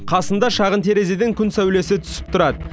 қасында шағын терезеден күн сәулесі түсіп тұрады